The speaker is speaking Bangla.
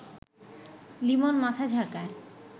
লিমন মাথা ঝাঁকায়